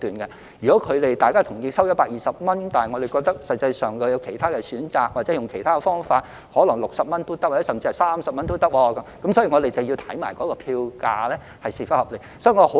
例如雙方同意收取120元，但我們認為實際上有其他選擇，或用其他方法可能只需60元甚至30元，所以我們要同時研究票價是否合理。